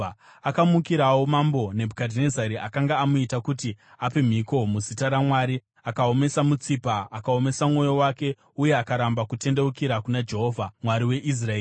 Akamukirawo Mambo Nebhukadhinezari akanga amuita kuti ape mhiko muzita raMwari. Akaomesa mutsipa akaomesa mwoyo wake uye akaramba kutendeukira kuna Jehovha, Mwari weIsraeri.